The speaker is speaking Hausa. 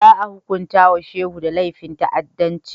Za a hunkunta wa Shekau da laifin ta'addanci.